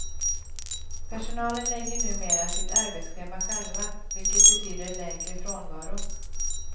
Personalen lägger numera sitt arbetsschema själva, vilket betyder lägre frånvaro.